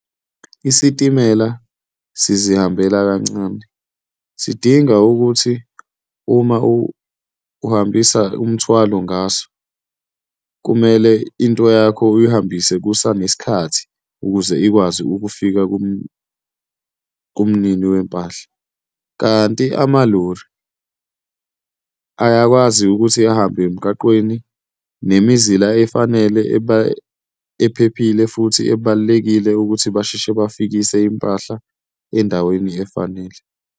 Isitimela sizihambele kancane sidinga ukuthi uma uhambisa umthwalo ngaso, kumele into yakho uyihambise kusanesikhathi ukuze ikwazi ukufika kumnini wempahla. Kanti ama-lorry ayakwazi ukuthi ahambe emgaqweni nemizila efanele ephephile futhi ebalulekile ukuthi basheshe bafikise impahla endaweni efanele.